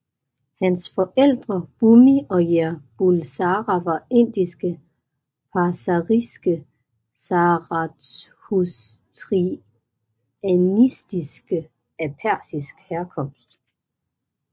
Hans forældre Bomi og Jer Bulsara var indiske parsariske zarathustrianistiske af persisk herkomst